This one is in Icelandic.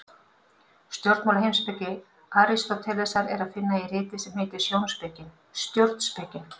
Stjórnmálaheimspeki Aristótelesar er að finna í riti sem heitir Stjórnspekin.